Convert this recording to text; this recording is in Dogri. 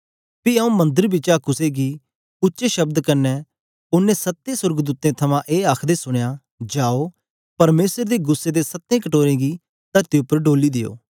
पी आऊँ मंदर बिचा कुसे गी उच्चे शब्द कन्ने ओनें सत्तें सोर्गदूतें थमां ए आखदे सुनया जाओ परमेसर दे गुस्सै दे सत्तें कटोरे गी तरती उपर डोली देओ